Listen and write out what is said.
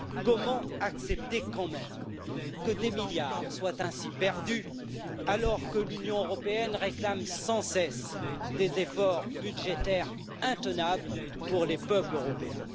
Comment accepter quand même que des milliards soient ainsi perdus, alors que l'Union européenne réclame sans cesse des efforts budgétaires intenables pour les peuples européens?